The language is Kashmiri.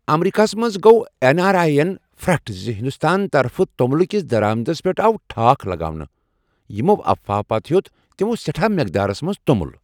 امریکہ ہس منٛز گوٚواین آر آیی ین پھرٛٹھ زِ ہنٛدستان طرفہٕ توٚملہٕ كِس درآمدس پیٹھ آو ٹھاكھ لگاونہٕ، یمو افواہو پتہٕ ہیوٚت تمو سیٹھاہ مقدارس منز تومٗل